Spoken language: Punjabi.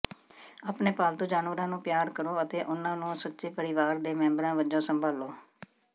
ਆਪਣੇ ਪਾਲਤੂ ਜਾਨਵਰਾਂ ਨੂੰ ਪਿਆਰ ਕਰੋ ਅਤੇ ਉਨ੍ਹਾਂ ਨੂੰ ਸੱਚੇ ਪਰਿਵਾਰ ਦੇ ਮੈਂਬਰਾਂ ਵਜੋਂ ਸੰਭਾਲੋ